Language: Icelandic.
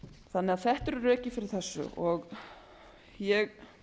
þannig að þetta eru rökin fyrir þessu ég